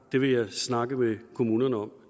det vil jeg snakke med kommunerne om